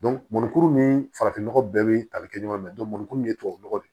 mɔnikuru ni farafin nɔgɔ bɛɛ bɛ tali kɛ ɲɔgɔn fɛ mugan kuru min ye tubabunɔgɔ de ye